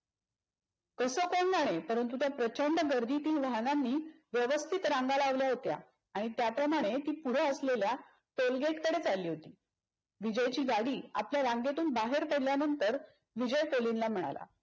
कस कोण जाणे पण परंतु त्या प्रचंड गर्दीतील वाहनांनी व्यवस्थित रांगा लावल्या होत्या आणि त्याप्रमाणे ती पुढे असलेल्या toll gate कडे चालली होती. विजयची गाडी आपल्या रांगेतून बाहेर पडल्यानंतर विजय कोलिनला म्हणाला.